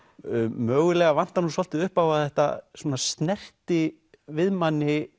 mögulega vantar nú svolítið upp á að þetta svona snerti við manni